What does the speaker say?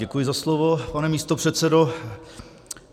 Děkuji za slovo, pane místopředsedo.